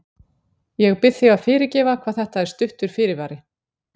Ég bið þig að fyrirgefa hvað þetta er stuttur fyrirvari.